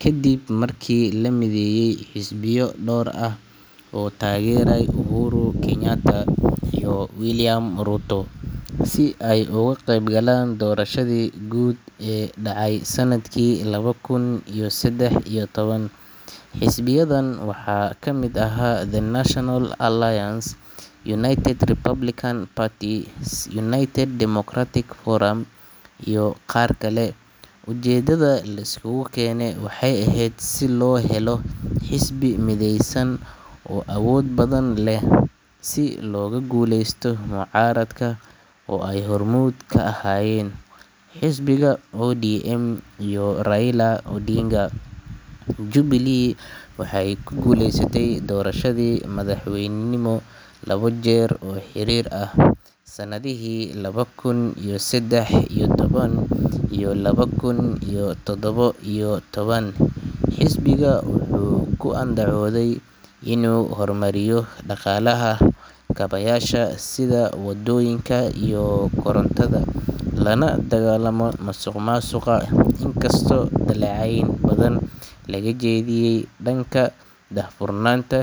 kadib markii la mideeyay xisbiyo dhowr ah oo taageeray Uhuru Kenyatta iyo William Ruto si ay uga qeyb galaan doorashadii guud ee dhacay sanadkii laba kun iyo saddex iyo toban. Xisbiyadan waxaa ka mid ahaa The National Alliance (TNA), United Republican Party (URP), United Democratic Forum (UDF) iyo qaar kale. Ujeedada la isku keenay waxay ahayd in la helo xisbi midaysan oo awood badan leh, si looga guuleysto mucaaradka oo ay hormuud ka ahaayeen xisbiga ODM iyo Raila Odinga. Jubilee waxay ku guuleysatay doorashadii madaxweynenimo laba jeer oo xiriir ah, sanadihii laba kun iyo saddex iyo toban iyo laba kun iyo toddoba iyo toban. Xisbiga wuxuu ku andacooday inuu hormarinayo dhaqaalaha, kaabayaasha sida waddooyinka iyo korontada, lana dagaalamayo musuqmaasuqa, inkastoo dhaleecayn badan laga jeediyay dhanka daahfurnaanta.